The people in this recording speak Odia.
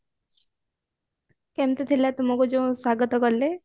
କେମିତି ଥିଲା ତୁମକୁ ଯୋଉ ସ୍ଵାଗତ କଲେ